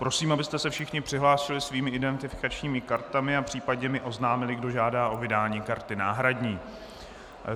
Prosím, abyste se všichni přihlásili svými identifikačními kartami a případně mi oznámili, kdo žádá o vydání karty náhradní.